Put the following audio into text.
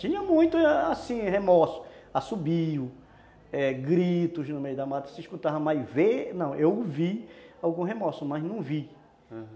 Tinha muito, assim, remorso, assobio, eh, gritos no meio da mata, se escutava mais, vê... Não, eu ouvi algum remorso, mas não vi. Aham.